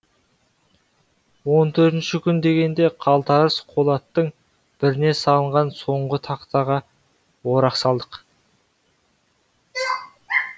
он төртінші күн дегенде қалтарыс қолаттың біріне салынған соңғы тақтаға орақ салдық